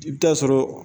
I bɛ taa sɔrɔ